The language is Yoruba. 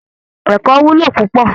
Ẹ̀kọ́ wúlò púpọ̀